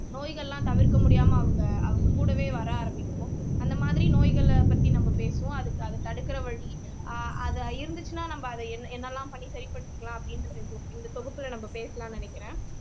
நோய்கள் எல்லாம் தவிர்க்க முடியாம அவங்க அவங்க கூடவே வர ஆரம்பிக்கும் அந்த மாதிரி நோய்களை பத்தி நம்ம பேசுவோம் அதுக்கு அதை தடுக்கிற வழி ஆஹ் அது இருந்துச்சுன்னா நம்ம அதை என் என்னெல்லாம் பண்ணி சரிபடுத்திக்கலாம் அப்படின்ற இந்த இந்த தொகுப்புல நம்ம பேசலாம்ன்னு நினைக்கிறேன்